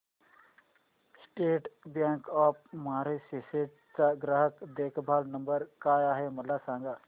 state bank of Mauritius चा ग्राहक देखभाल नंबर काय आहे मला सांगा